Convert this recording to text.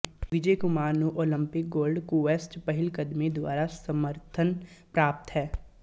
ਵਿਜੇ ਕੁਮਾਰ ਨੂੰ Olympic gold quest ਪਹਿਲਕਦਮੀ ਦੁਆਰਾ ਸਮਰਥਨ ਪ੍ਰਾਪਤ ਹੈ